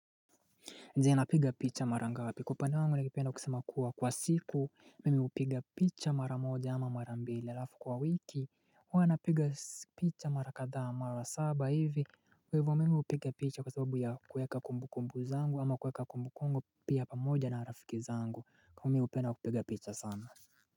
Ndiye napiga picha mara ngapi kupande wangu nagipenda kusema kuwa kwa siku mimi upiga picha mara moja ama mara mbili alafu kwa wiki wana piga picha mara kadhaa mara saba hivi kwa ivo mimi upiga picha kwa sababu ya kweka kumbu kumbu zangu ama kweka kumbu kumbu pia pa moja na rafiki zangu kwa mimi upenda kupiga picha sana.